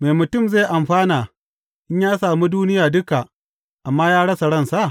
Me mutum zai amfana in ya sami duniya duka, amma ya rasa ransa?